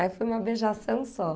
Aí foi uma beijação só.